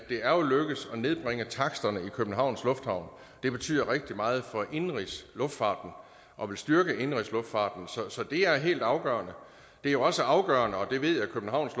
nedbringe taksterne i københavns lufthavn det betyder rigtig meget for indenrigsluftfarten og vil styrke indenrigsluftfarten så det er helt afgørende det er også afgørende og det ved jeg københavns